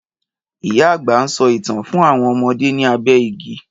Ìyá àgbà ń sọ ìtàn fún àwọn ọmọdé ní abé igi